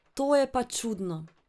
To je pa čudno!